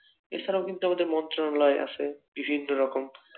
এছাড়াও কিন্তু আমাদের মন্ত্রালয় আছে বিভিন্ন রকম